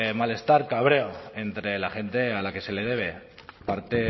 malestar cabreo entre la gente a la que se le debe parte